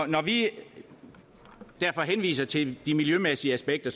når vi henviser til de miljømæssige aspekter